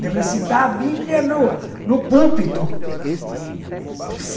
De recitar a bíblia no no púlpito.